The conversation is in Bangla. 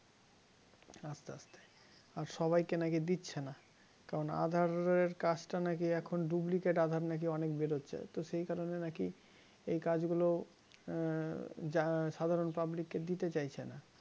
আর সবাইকে নাকি দিচ্ছে না কারণ aadhar এর কাজটা নাকি এখন duplicate aadhar নাকি অনেক বেরোচ্ছে তো সেই কারণে নাকি এই কাজগুলো আহ সাধারণ public কে দিতে চাইছে না